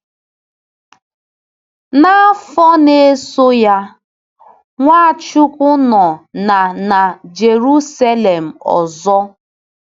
N’afọ na-eso ya, Nwachukwu nọ na na Jeruselem ọzọ.